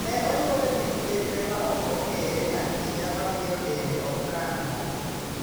Ne onywole gi midekre ma ok ong`ere ahinya ma miyo dende ok kan mo.